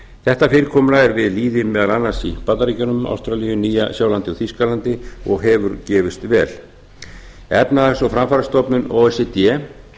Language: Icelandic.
þetta fyrirkomulag er við lýði meðal annars í bandaríkjunum ástralíu nýja sjálandi og þýskalandi og hefur gefist vel efnahags og framfarastofnun o e c d